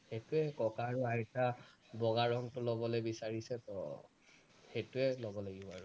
সেইটোৱেই কথা আৰু আইতা বগা ৰঙটো লবলে বিচাৰিছে তো সেইটোৱেই লব লাগিব আৰু